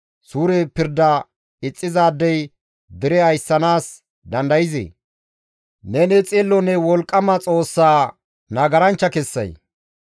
Suure pirda ixxizaadey dere ayssanaas dandayzee? Neni xillonne wolqqama Xoossa nagaranchcha kessay?